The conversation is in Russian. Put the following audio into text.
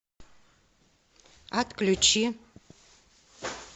отключи